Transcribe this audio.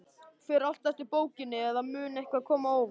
Fer allt eftir bókinni, eða mun eitthvað koma á óvart?